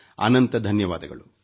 ಅನಂತ ಧನ್ಯವಾದಗಳು